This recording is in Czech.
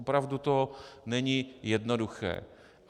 Opravdu to není jednoduché.